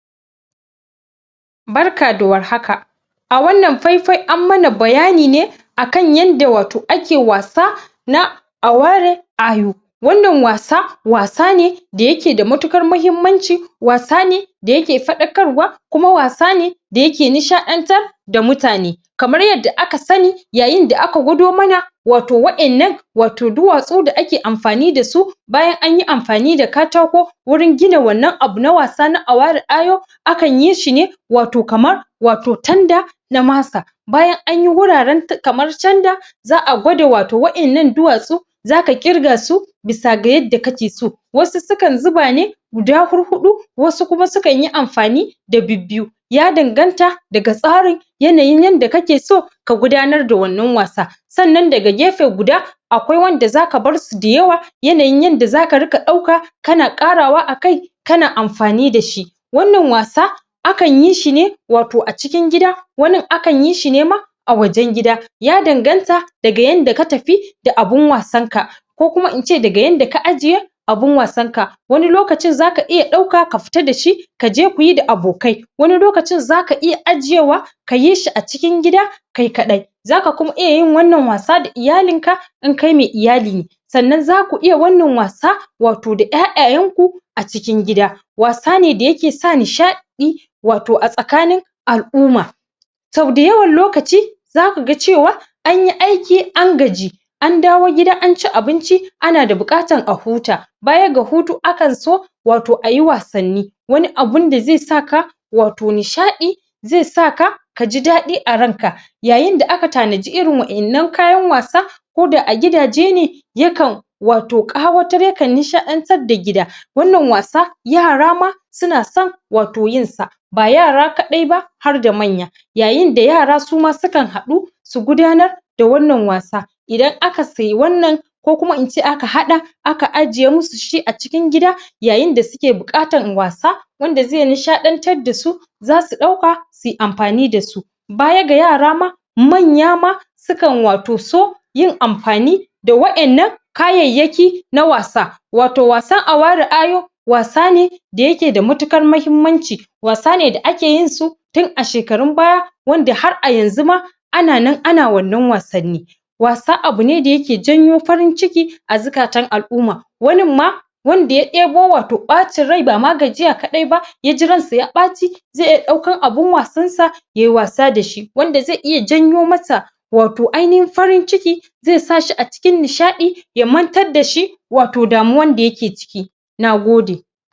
barka da war haka a wannan faifai an mana bayani ne akan yanda wato ake wasa na aware ayo wannan wasa ne da yake da matuƙar mahimmanci wasa ne da yake faɗaƙarwa kuma wasa ne da yake nishaƙantar da mutane kamar yadda aka sani yayin da aka gwaɗo mana wato waennan wato duwasu dake amfani da su bayan anyi amfani da katako wurin gina wannan abu na wasa na awari ayo akan yi shi ne wato kamar wato tanda na masa bayan anyi wuraren kamar tanda za'a gwado wato waddannan duwasu zaka ƙirga su bisa ga yanda kake so wasu sukan zuba ne guda huɗu huɗu wasu su kan yi amfani da biyu biyu ya ɗanganta daga tsarin yanayin yanda kakeso ka gudanar da wannan wasa sannan daga gefe guda akwai wanda zaka barsu da yawa yanayin yanda zaka ringa dauka kana karawa a kai kana amfani dashi wannan wasa akanyi shi ne wato a cikin gida wanin akanyi shi ne ma a wajen gida ya ɗanganta daga yanda ka tafi da abun wasan ka ko kuma ince daga yanda ka ajiye abun wasan ka wani lokacin zaka iya dauka ka fita da shi kaje kuyi da abokai wani lokacin zaka iya ajiye wa kayi shi a cikin gida kai kaɗai zaka kuma iyay yin wannan wasa da iyalin ka in kai mai iyali ne sannan zaku iya wannan wasa wato da 'ya'yayan ku a cikin gida wasa ne da yake sa nishadi wato a tsakanin al'umma so da yawan lokaci zaku ga cewa anyi aiki an gaji an dawo gida an ci abinci ana da buƙatan a huta bayan ga hutu akan so ayi wasanni wani abun da zai sa ka wato nishadi zai saka kaji daɗi a ran ka yayin da aka tanaji irin wa'ennan kayan wasa ko da a gidaje ne yakan wato kara nishatadda gida wannan wasa yara ma suna son wato yin sa ba yara kadai ba harda manya yayin da yara ma sukan haɗu su gudanar da wannan wasa idan aka siya wannan ko kuma ince aka haɗa aka ajiye musu shi a cikin gida yayin da suke buƙatan wasa wanda zai nishaɗantar da su zasu dauka suyi amfani da su baya ga yara ma manya ma sukan wato so yin amfani da wa'ennan kayayyaki na wasa wato wasan awari ayo wasa ne da yake da matuƙar mahimmanci wasa ne da ake yin su tun a shekaru baya wanda har a yanzu ma ana nan ana wannan wasanni wasa wani abune da yake janyo farin ciki a zuƙatan al'umma wanin ma wanda ya ɗebo wato ɓacin rai ba ma gayiya kadai ba ya ji ran sa ya ɓaci zai iya daukan abun wasan sa yayi wasa dashi wanda zai janyo masa wato ainihin farin ciki zai sa shi a cikin nishaɗi ya mantar dashi wato damuwan da yake ciki Nagode.